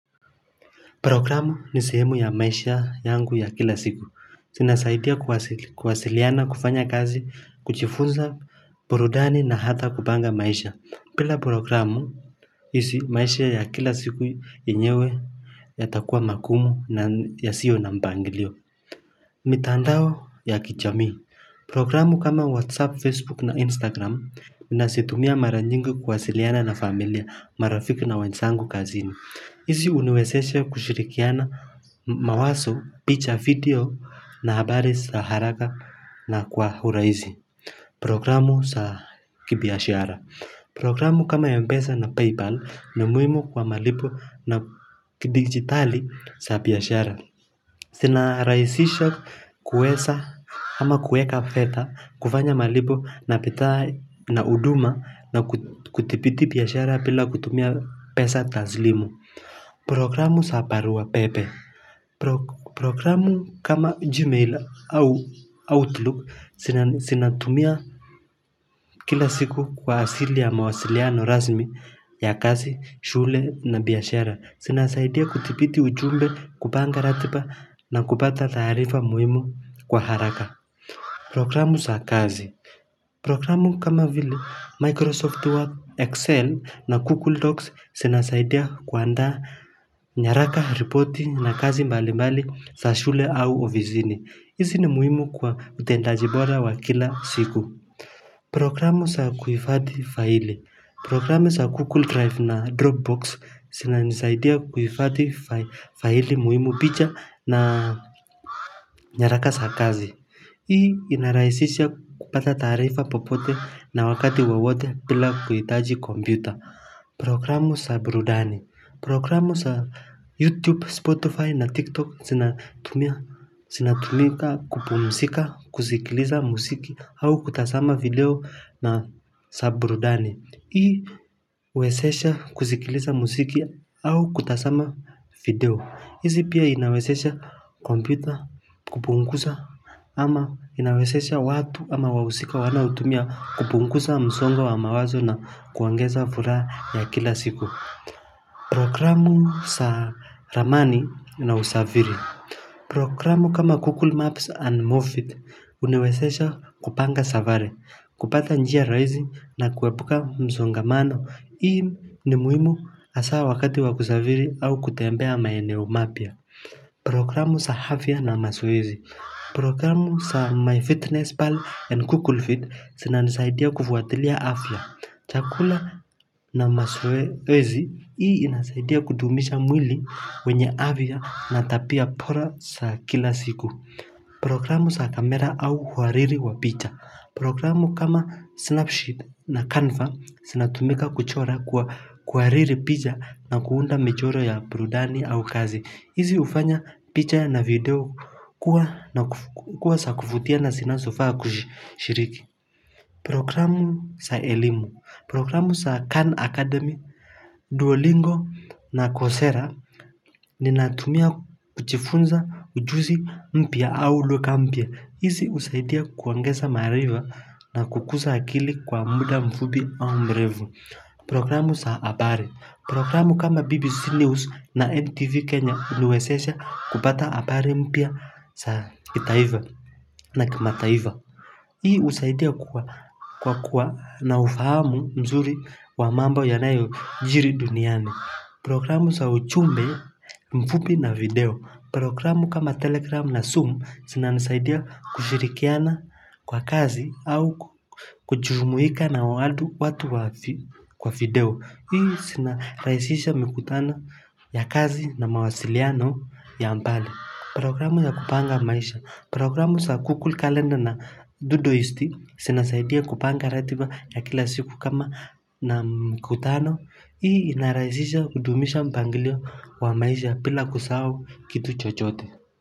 Programu ni sehemu ya maisha yangu ya kila siku. Zinasaidia kuwasiliana kufanya kazi, kujifunza, burudani na hata kupanga maisha. Bila programu hii maisha ya kila siku enyewe yatakua magumu na ya sio na mpangilio. Mitandao ya kijamii. Programu kama Whatsapp, Facebook na Instagram ninazitumia mara nyingi kuwasiliana na familia marafiki na wanzangu kazini. Hizi huniwezesha kushirikiana mawazo picha video na habari za haraka na kwa hurahisi programu za kibiashara. Programu kama Mpesa na Paypal ni muhimu kwa malipo na kidigitali za biashara. Zina rahisisha kuweza ama kuweka fedha kufanya malipo na bidhaa na huduma na kuthibiti biashara bila kutumia pesa taslimu. Programu za barua pepe Programu kama Gmail au Outlook zinatumia kila siku kwa asili ya mawasiliano rasmi ya kazi, shule na biashara zinasaidia kudhibiti ujumbe kupanga ratiba na kupata taarifa muhimu kwa haraka Programu za kazi Programu kama vile Microsoft Word, Excel na Google Docs zinasaidia kuanda nyaraka ripoti na kazi mbali mbali za shule au ofisini. Hizi ni muhimu kwa utendaji bora wa kila siku. Programu za kuhifadhii faili. Programu za Google Drive na Dropbox zinanisaidia kuifadhi faili muhimu picha na nyaraka za kazi. Hii inarahisisha kupata taarifa popote na wakati wowote bila kuitaji kompyuta Programu za burudani Programu za youtube, spotify na tiktok zinatumika kupumzika, kusikiliza muziki au kutazama video na za burudani hii wezesha kusikiliza muziki au kutazama video hizi pia inawezesha kompyuta kupunguza ama inawezesha watu ama wahusika wanao hutumia kupunguza msongo wa mawazo na kuongeza furaha ya kila siku. Programu za ramani na usafiri. Programu kama Google Maps and Moffitt unawezesha kupanga safari, kupata njia rahisi na kuepuka msongamano. Hii ni muhimu hasa wakati wakusafiri au kutembea maeneo mapya. Programu za afya na mazoezi Programu za MyFitnessPal and Google Fit zinanisaidia kufuatilia afya chakula na mazoezi hii inasaidia kudumisha mwili wenye afya natabia bora za kila siku Programu za kamera au kuhariri wa picha programu kama Snapsheet na Canva zinatumika kuchora kwa kuhariri picha na kuunda michoro ya burudani au kazi hizi hufanya picha na video kuwa zakuvutia na zinasofa kushiriki Programu za elimu Programu za Cannes Academy Duolingo na Kocera Ninatumia kujifunza ujuzi mpya au lugha mpya hizi husaidia kuongeza maarifa na kukuza akili kwa muda mfupi au mrefu Programu za habari Programu kama BBC News na MTV Kenya huniwezesha kupata habari mpya za kitaifa na kimataifa hii husaidia kwa kuwa na ufahamu mzuri wa mambo ya nayo jiri duniani Programu za ujumbe mfupi na video Programu kama telegram na zoom zinanisaidia kushirikiana kwa kazi au kujumuika na watu kwa video hii zina rahisisha mikutano ya kazi na mawasiliano ya mbali programu za kupanga maisha programu za google kalenda na dudoist zina zaidia kupanga ratiba ya kila siku kama na mkutano hii inarahisha kudumisha mpangilio wa maisha bila kusahau kitu chocote.